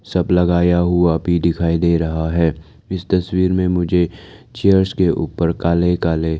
सब लगाया हुआ भी दिखाई दे रहा है इस तस्वीर में मुझे चेयर्स के ऊपर काले काले--